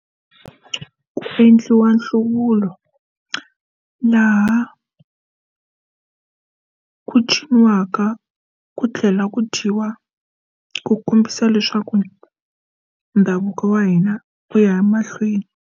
Ku endliwa nhlawulo laha ku tshamiwaka ku tlhela ku dyiwa ku kombisa leswaku ndhavuko wa hina u ya mahlweni.